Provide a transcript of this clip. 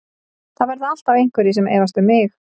Það verða alltaf einhverjir sem efast um mig.